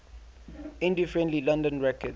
indie friendly london records